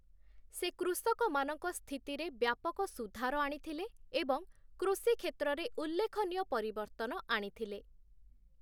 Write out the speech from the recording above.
ସେ କୃଷକମାନଙ୍କ ସ୍ଥିତିରେ ବ୍ୟାପକ ସୁଧାର ଆଣିଥିଲେ ଏବଂ କୃଷି କ୍ଷେତ୍ରରେ ଉଲ୍ଲେଖନୀୟ ପରିବର୍ତ୍ତନ ଆଣିଥିଲେ ।